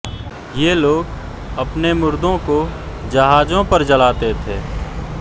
ये लोग अपने मुर्दों को जहाजों पर जलाते थे